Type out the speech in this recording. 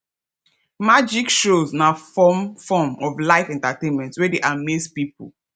magic shows na form form of live entertainment wey de amaze pipo